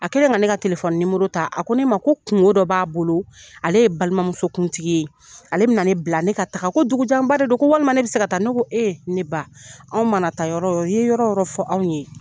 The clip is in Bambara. A kɛlen ka ne ka telefɔni nimero ta, a ko ne ma ko kungo dɔ b'a bolo, ale ye balima muso kuntigi ye. Ale bɛna ne bila, ne ka taa ,ko dugu janba de don. Ko walima ne bɛ se ka taa, ne ko, e ne ba , anw mana taa yɔrɔ yɔrɔ, i ye yɔrɔ yɔrɔ fɔ anw ye.